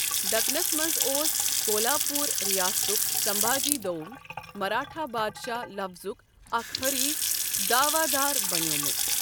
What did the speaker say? دَکنَس منٛز اوس کولہاپوٗر رِیاستَُک سَمبھاجی دوم، مراٹھا بادشاہ لفضُك اَکھ حریف دعوا دار بَنِیوٛمُت۔